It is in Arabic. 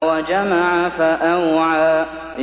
وَجَمَعَ فَأَوْعَىٰ